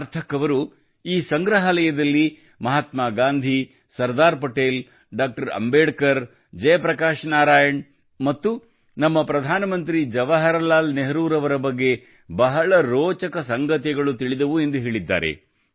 ಸಾರ್ಥಕ್ ಅವರು ಈ ಸಂಗ್ರಹಾಲಯದಲ್ಲಿ ಮಹಾತ್ಮ ಗಾಂಧಿ ಸರ್ದಾರ್ ಪಟೇಲ್ ಡಾಕ್ಟರ್ ಅಂಬೇಡ್ಕರ್ ಜಯಪ್ರಕಾಶ್ ನಾರಾಯಣ್ ಮತ್ತು ನಮ್ಮ ಪ್ರಧಾನಮಂತ್ರಿ ಜವಾಹರಲಾಲ್ ನೆಹರುರವರ ಬಗ್ಗೆ ಬಹಳ ರೋಚಕ ಸಂಗತಿಗಳು ತಿಳಿದವು ಎಂದು ಹೇಳಿದ್ದಾರೆ